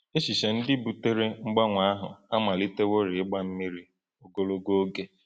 Echiche ndị butere mgbanwe ahụ amaliteworị ịgba mmiri ogologo oge.